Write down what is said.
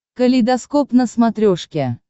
калейдоскоп на смотрешке